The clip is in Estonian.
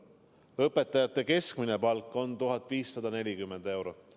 Õpetajate keskmine palk on 1540 eurot.